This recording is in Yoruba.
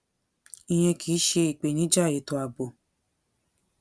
ìyẹn kì í ṣe ìpèníjà ètò ààbò